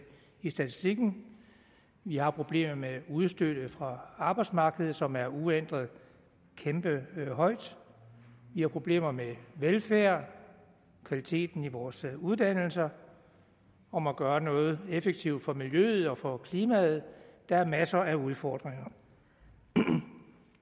i statistikken vi har problemet med antallet af udstødte fra arbejdsmarkedet som er uændret kæmpe højt vi har problemer med velfærd kvaliteten i vores uddannelser og må gøre noget effektivt for miljøet og for klimaet der er masser af udfordringer